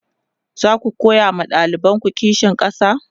zaku koya ma ɗalibanku kishin ƙasa?